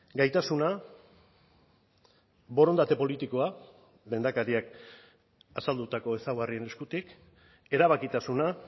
gaitasuna borondate politikoa lehendakariak azaldutako ezaugarrien eskutik erabakitasuna